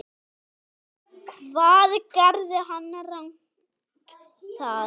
Hvað gerði hann rangt þar?